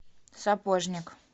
сапожник